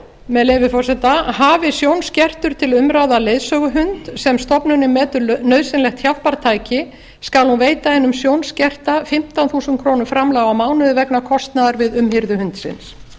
með leyfi forseta hafi sjónskertur til umráða leiðsöguhund sem stofnunin metur nauðsynlegt hjálpartæki skal hún veita hinum sjónskerta fimmtán þúsund króna framlag á mánuði vegna kostnaðar við umhirðu hundsins